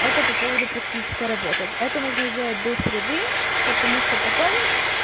это по поводу практической работы это нужно сделать до среды потому что потом